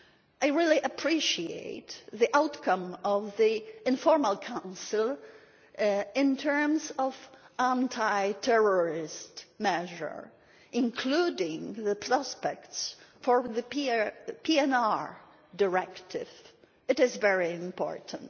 I really appreciate the outcome of the informal Council in terms of anti terrorist measures, including the prospects for the PNR Directive it is very important.